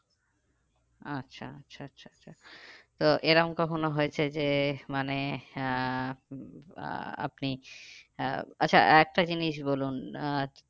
আচ্ছা আচ্ছা আচ্ছা আচ্ছা তো এরকম কখনো হয়েছে যে মানে আহ আপনি আহ আচ্ছা একটা জিনিস বলুন আহ